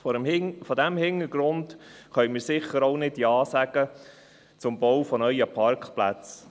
Vor diesem Hintergrund können wir sicher auch nicht Ja sagen zum Bau neuer Parkplätze.